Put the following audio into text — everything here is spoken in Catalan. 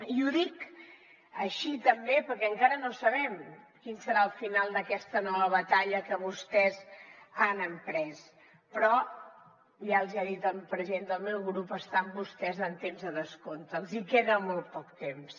i ho dic així també perquè encara no sabem quin serà el final d’aquesta nova batalla que vostès han emprès però ja els ho ha dit el president del meu grup estan vostès en temps de descompte els hi queda molt poc temps